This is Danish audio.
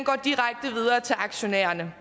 af til aktionærerne